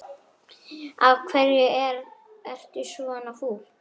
Af hverju ertu svona fúll?